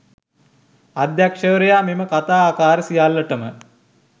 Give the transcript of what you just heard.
අධ්‍යක්ෂවරයා මෙම කථා ආකාර සියල්ලටම